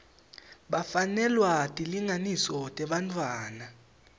bafanelwa tilinganiso tebantfwana